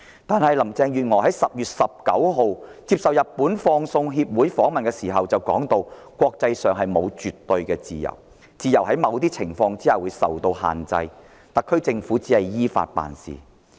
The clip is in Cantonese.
然而，林鄭月娥在10月19日接受日本放送協會訪問時指出，國際間沒有絕對的自由，自由在某些情況下會被限制，而特區政府只是依法行事。